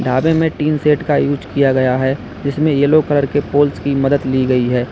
ढाबे में tin shed का यूस किया गया है जिसमें येलो कलर के पोल्स कि मदद ली गई है।